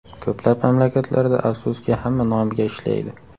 Ko‘plab mamlakatlarda, afsuski, hamma nomiga ishlaydi.